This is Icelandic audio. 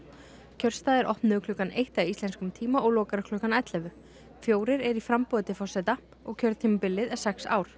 kjörstaðir opnuðu klukkan eitt að íslenskum tíma og loka klukkan ellefu fjórir eru í framboði til forseta og kjörtímabilið er sex ár